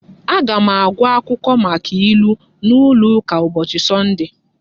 Aga m agụ akwụkwọ maka ilu n'ụlọ ụka ụbọchị Sọnde